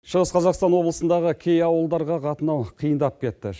шығыс қазақстан облысындағы кей ауылдарға қатынау қиындап кетті